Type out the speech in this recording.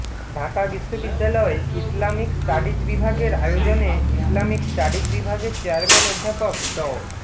ঢাকা বিশ্ববিদ্যালয় Islamic studies বিভাগের আয়োজনে ইসলামিক স্টাডিজ বিভাগের চেয়ারম্যান অধ্যাপক ড